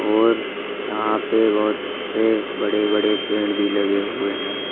और यहां पर बहोत से बड़े बड़े पेड़ भी लगे हुए हैं।